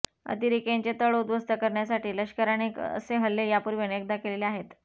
अतिरेक्यांचे तळ उध्वस्त करण्यासाठी लष्कराने असे हल्ले यापूर्वी अनेकदा केलेले आहेत